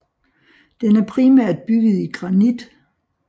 Den er primært bygget i granit